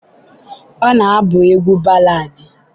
ọ na-abụ egwu baladi.